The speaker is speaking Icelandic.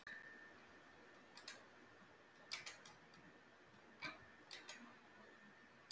Er hausinn þinn í sandinum?